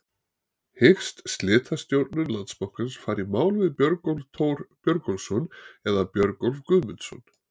Hyggst slitastjórn Landsbankans fara í mál við Björgólf Thor Björgólfsson eða Björgólf Guðmundsson?